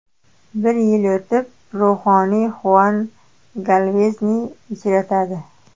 Bir yil o‘tib, ruhoniy Huan Galvezni uchratadi.